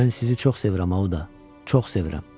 Mən sizi çox sevirəm, Auda, çox sevirəm.